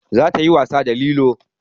Za ta yi wasa da lilo